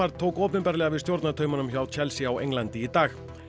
tók opinberlega við stjórnartaumunum hjá Chelsea á Englandi í dag